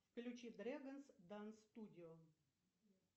включи дрегонс данс студио